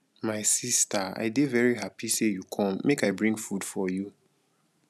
my sister i dey very happy say you come make i bring food for you.